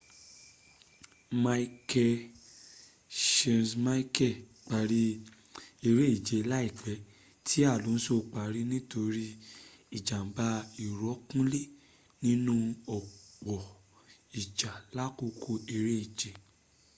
michael schumacher parí eréje rẹ̀ láìpẹ́ tí alonso parí nítori ìjàm̀bá ìrọ́kúnlé nínú ọ̀pọ̀ ìjà làkòókò eréje